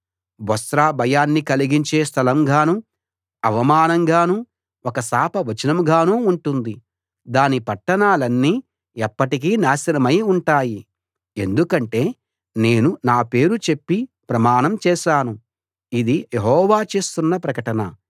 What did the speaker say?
బొస్రా భయాన్ని కలిగించే స్థలంగానూ అవమానంగానూ ఒక శాపవచనంగానూ ఉంటుంది దాని పట్టణాలన్నీ ఎప్పటికీ నాశనమై ఉంటాయి ఎందుకంటే నేను నా పేరు చెప్పి ప్రమాణం చేశాను ఇది యెహోవా చేస్తున్న ప్రకటన